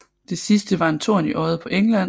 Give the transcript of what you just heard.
Det sidste var en torn i øjet på England